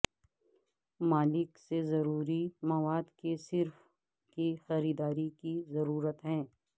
مالک سے ضروری مواد کے صرف کی خریداری کی ضرورت ہے